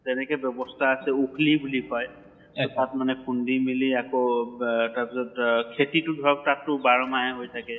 তেনেকে ব্য়ৱস্থা আছে ওখলি বুলি কয় এহ তাত মানে খুন্দি মালি আকৌ বা তাৰ পিছত অহ খেতি টো ধৰক তাত টো বাৰʼ মাহে হৈ থাকে